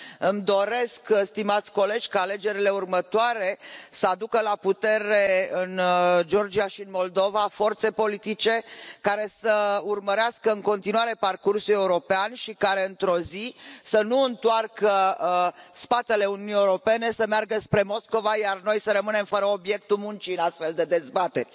Îmi doresc, stimați colegi, ca alegerile următoare să aducă la putere în Georgia și în Moldova forțe politice care să urmărească în continuare parcursul european și care, într o zi, să nu întoarcă spatele Uniunii Europene, să meargă spre Moscova iar noi să rămânem fără obiectul muncii în astfel de dezbateri.